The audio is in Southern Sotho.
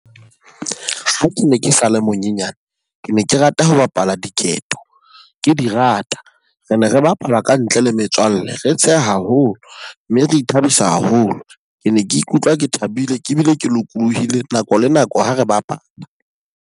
Ha ke ne ke sale monyenyane, ke ne ke rata ho bapala diketo, ke di rata. Re ne re bapala ka ntle le metswalle. Re tsheha haholo mme re ithabisa haholo. Ke ne ke ikutlwa ke thabile ke bile ke lokolohile nako le nako ha re bapala.